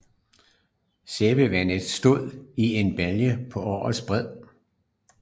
Sæbevandet stod i en balje på åens bred